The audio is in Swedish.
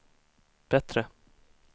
bättre